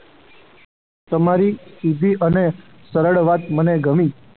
તમારી સીધી અને સરળ વાત મને ગમી.